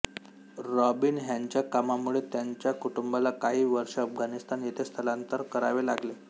robin ह्यांच्या कामामुळे त्यांच्या कुटुंबाला काही वर्षे अफगाणीस्तान येथे स्थलांतर करावे लागले